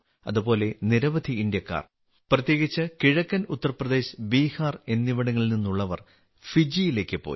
അതുപോലെ നിരവധി ഇന്ത്യക്കാർ പ്രത്യേകിച്ച് കിഴക്കൻ ഉത്തർപ്രദേശ് ബിഹാർ എന്നിവിടങ്ങളിൽ നിന്നുള്ളവർ ഫിജിയിലേക്ക് പോയി